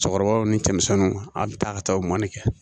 Cɛkɔrɔbaw ni cɛmisɛnnu a bi taa ka taa o mɔni kɛ